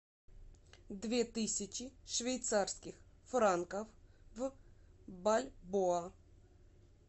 две тысячи швейцарских франков в бальбоа